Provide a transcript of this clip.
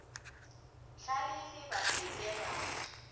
hlalefe ba se ke ba